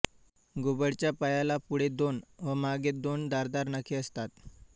घुबडच्या पायाला पुढे दोन व मागे दोन धारदार नखे असतात